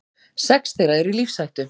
Sex þeirra eru í lífshættu